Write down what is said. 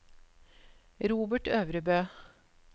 Robert Øvrebø